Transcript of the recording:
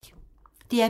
DR P2